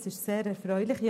Das ist sehr erfreulich.